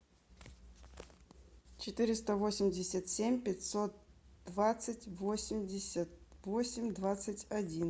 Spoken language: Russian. четыреста восемьдесят семь пятьсот двадцать восемьдесят восемь двадцать один